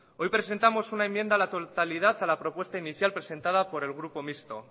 hoy presentamos una enmienda a la totalidad a la propuesta inicial presentada por el grupo misto